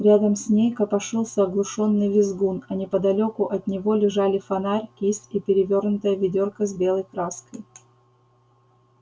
рядом с ней копошился оглушённый визгун а неподалёку от него лежали фонарь кисть и перевёрнутое ведёрко с белой краской